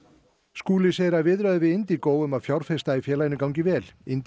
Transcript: Skúli segir að viðræður við Indigo um að fjárfesta í félaginu gangi vel